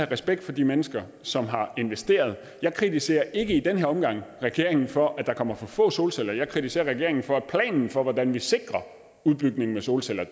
respekt for de mennesker som har investeret i jeg kritiserer ikke i den her omgang regeringen for at der kommer for få solceller jeg kritiserer regeringen for at planen for hvordan vi sikrer udbygningen af solceller